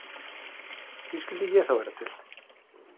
Því skyldi ég þá vera til?